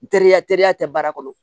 Teriya teriya tɛ baara kɔnɔ